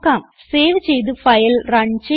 save ചെയ്ത് file run ചെയ്യുക